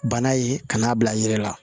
Bana ye ka n'a bila i yɛrɛ la